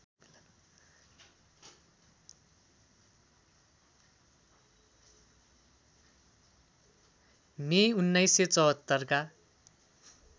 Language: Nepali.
मे १९७४ का